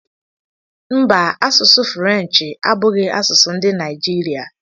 Mba, asụsụ Frenchi abụghị asụsụ ndị Naijiria.